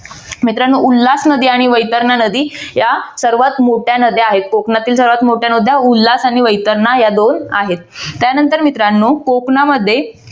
मित्रानो उल्हास नदी आणि वैतरणा नदी या सर्वात मोठ्या नद्या आहेत. कोकणातील सर्वात मोठ्या नद्या उल्हास आणि वैतरणा या दोन आहेत. त्यानंतर मित्रांनो कोकणामध्ये